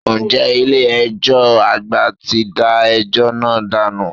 Ǹjẹ́ ilé ẹjọ́ àgbà ti da ẹjọ́ náà dànù?